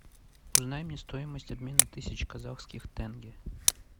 узнай мне стоимость обмена тысяч казахских тенге